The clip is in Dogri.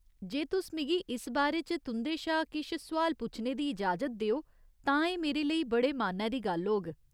जे तुस मिगी इस बारे च तुं'दे शा किश सोआल पूछने दी इजाजत देओ तां एह् मेरे लेई बड़े मान्नै दी गल्ल होग।